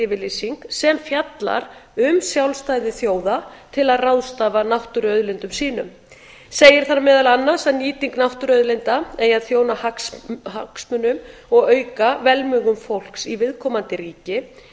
yfirlýsing sem fjallar um sjálfstæði þjóða til að ráðstafa náttúruauðlindum sínum segir þar meðal annars að nýting náttúruauðlinda eigi að þjóna hagsmunum og auka velmegun fólks í viðkomandi ríki